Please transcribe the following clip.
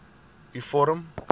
u vorm